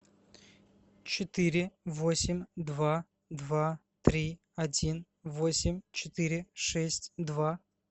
четыре восемь два два три один восемь четыре шесть два